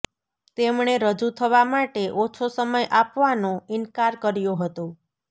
તેમણે રજુ થવા માટે ઓછો સમય આપવાનો ઇન્કાર કર્યો હતો